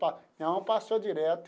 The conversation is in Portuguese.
Pa minha mão passou direto.